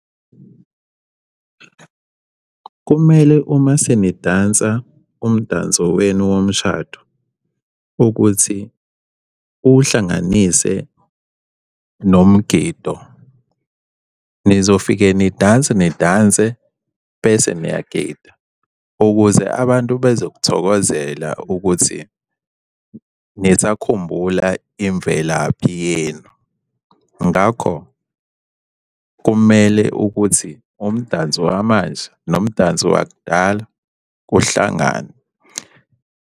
Kumele uma senidansa umdanso wenu womshado, ukuthi uwuhlanganise nomgido. Nizofike nidanse nidanse, bese niyagida, ukuze abantu bezokuthokozela ukuthi nisakhumbula imvelaphi yenu. Ngakho kumele ukuthi umdanso wamanje nomdanso wakudala kuhlangane.